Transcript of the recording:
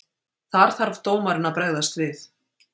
Þar þarf dómarinn að bregðast við.